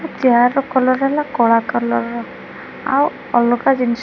ଆଉ ଚିଆର୍ ର କଲର୍ ହେଲା କଳା କଲର୍ ର ଆଉ ଅଲଗା ଜିନିଷ--